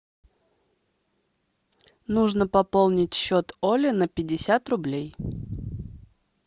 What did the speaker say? нужно пополнить счет оле на пятьдесят рублей